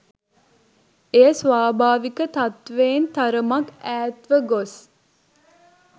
එය ස්වාභාවික තත්ත්වයෙන් තරමක් ඈත්ව ගොස්